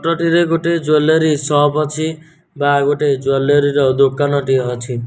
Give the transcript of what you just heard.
ଏଠି ଗୋଟେ ଜ୍ୱାଲେରୀ ର ସପ ଅଛି ବା ଜ୍ୱାଲେରୀ ର ଦୋକାନ ଟିଏ ଅଛି।